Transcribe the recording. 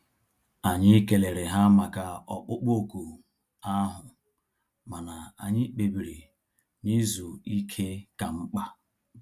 Anyị kelere ha maka ọkpụkpụ òkù ahụ mana anyị kpebiri na izu ike ka mkpa